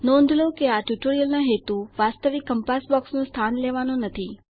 નોંધ લો કે આ ટ્યુટોરીયલનો હેતુ વાસ્તવિક કંપાસ બોક્સનું સ્થાન લેવાનું નથી